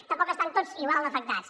tampoc estan tots igual d’afectats